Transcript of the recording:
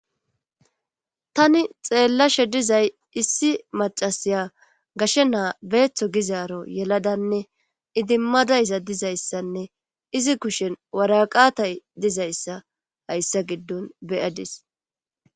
tani xeellashe dizay issi macasiya gashe naa beeththo gizaaro yeladanne idimmadayza dizayssanne izi kushen waraqatay dizayssa hayssa giddon be7adis